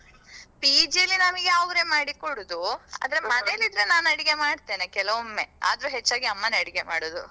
PG ಯಲ್ಲಿ ನಮಗೆ ಅವ್ರೆ ಮಾಡಿಕೊಡುದು ಆದ್ರೆ ಮನೆಯಲ್ಲಿದ್ರೆ ನಾನ್ ಅಡಿಗೆ ಮಾಡತೇನೆ ಕೆಲವೊಮ್ಮೆ ಆದ್ರೂ ಹೆಚ್ಚಾಗಿ ಅಮ್ಮನೇ ಅಡಿಗೆ ಮಾಡುದು.